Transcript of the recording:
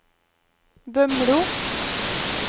Bømlo